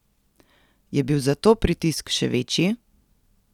Je bil zato pritisk še večji?